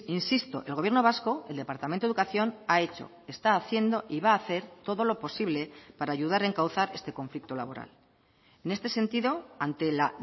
insisto el gobierno vasco el departamento de educación ha hecho está haciendo y va a hacer todo lo posible para ayudar a encauzar este conflicto laboral en este sentido ante la